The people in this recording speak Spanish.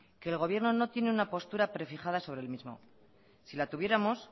que el gobierno no tiene una postura prefijada sobre el mismo si la tuviéramos